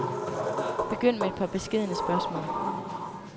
Begynd med et par beskedne spørgsmål.